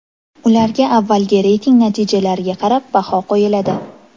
Ularga avvalgi reyting natijalariga qarab baho qo‘yiladi.